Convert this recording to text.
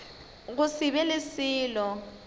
go se be le selo